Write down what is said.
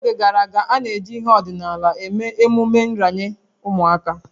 N'oge gara aga, a na-eji ihe ọdịnala eme emume nranye ụmụaka